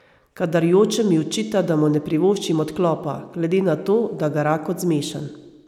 Kadar jočem, mi očita, da mu ne privoščim odklopa, glede na to, da gara kot zmešan.